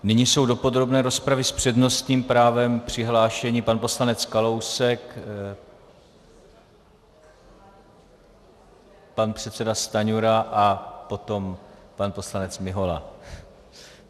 Nyní jsou do podrobné rozpravy s přednostním právem přihlášeni pan poslanec Kalousek, pan předseda Stanjura a potom pan poslanec Mihola.